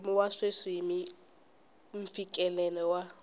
mpimo wa sweswi mfikelelo wa